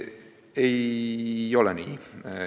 " Ei ole nii.